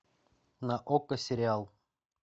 на окко сериал